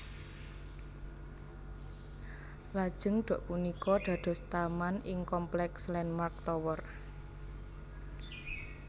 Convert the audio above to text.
Lajeng dok punika dados taman ing kompleks Landmark Tower